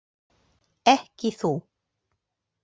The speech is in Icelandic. Ekki þú.